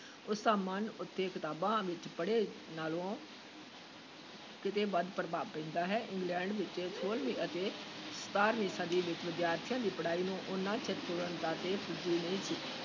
ਉਸ ਦਾ ਮਨ ਉੱਤੇ ਕਿਤਾਬਾਂ ਵਿੱਚੋਂ ਪੜ੍ਹੇ ਨਾਲੋਂ ਕਿਤੇ ਵੱਧ ਪ੍ਰਭਾਵ ਪੈਂਦਾ ਹੈ, ਇੰਗਲੈਂਡ ਵਿਚ ਛੋਲਵੀਂ ਅਤੇ ਸਤਾਰਵੀਂ ਸਦੀ ਵਿਚ ਵਿਦਿਆਰਥੀਆਂ ਦੀ ਪੜ੍ਹਾਈ ਨੂੰ ਓਨਾ ਚਿਰ ਪੂਰਨਤਾ ‘ਤੇ ਪੁੱਜੀ ਨਹੀਂ ਸੀ